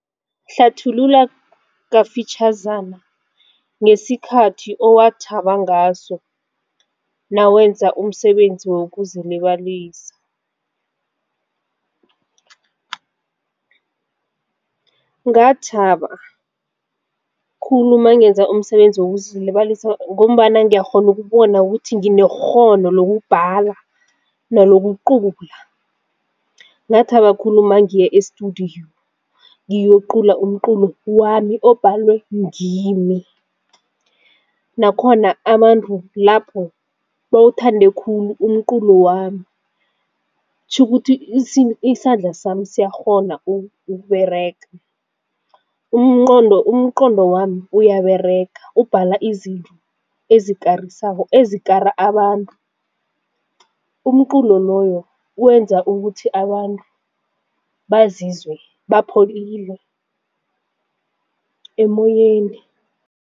Hlathulula kafitjhazana ngesikhathi owathaba ngaso nawenza umsebenzi wokuzilibalisa. Ngathaba khulu mangenza umsebenzi wokuzilibalisa ngombana ngiyakghona ukubona ukuthi nginekghono lokubhala nalokucula. Ngathaba khulu mangiya-estudio ngiyocula umculo wami obhalwe ngimi, nakhona abantu lapho bawuthande khulu umculo wami kutjhukuthi isandla sami siyakghona ukuberega, umqondo wami uyaberega ubhala izinto esikarisako ezikara abantu. Umculo loyo wenza ukuthi abantu bazizwe bapholile emoyeni.